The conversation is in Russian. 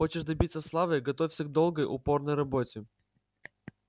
хочешь добиться славы готовься к долгой упорной работе